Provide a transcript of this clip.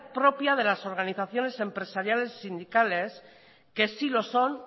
propia de las organizaciones empresariales y sindicales que sí lo son